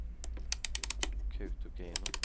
Kautokeino